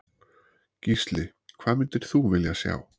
Gísli: Hvað myndir þú vilja sjá?